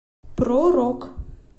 про рок